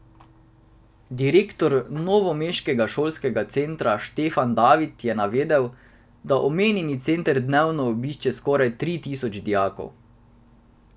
Direktor novomeškega Šolskega centra Štefan David je navedel, da omenjeni center dnevno obišče skoraj tri tisoč dijakov.